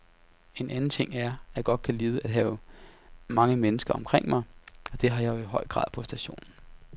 En anden ting er, at jeg godt kan lide at have mange mennesker omkring mig, og det har jeg i høj grad på stationen.